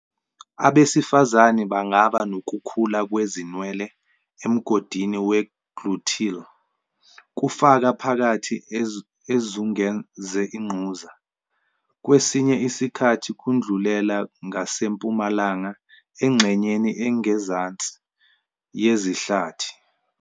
Abesifazane bangaba nokukhula kwezinwele emgodini we-gluteal, kufaka phakathi ezungeze ingquza, kwesinye isikhathi kudlulela ngasempumalanga engxenyeni engezansi yezihlathi.